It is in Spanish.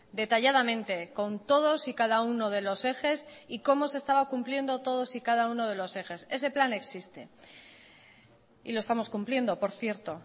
detalladamente con todos y cada uno de los ejes y cómo se estaba cumpliendo todos y cada uno de los ejes ese plan existe y lo estamos cumpliendo por cierto